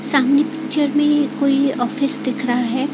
सामने पिक्चर में कोई ऑफिस दिख रहा है।